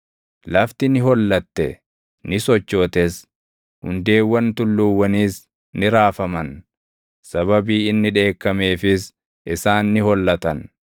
Lafti ni hollatte; ni sochootes; hundeewwan tulluuwwaniis ni raafaman; sababii inni dheekkameefis isaan ni hollatan.